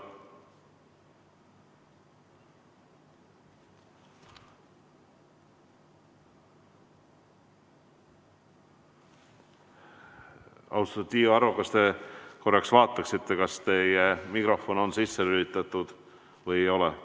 Austatud Tiiu Aro, kas te korraks vaataksite, kas teie mikrofon on sisse lülitatud või ei ole?